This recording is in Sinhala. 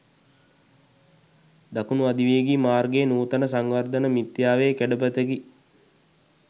දකුණු අධිවේගී මාර්ගය නූතන සංවර්ධන මිත්‍යාවේ කැඩපතකි.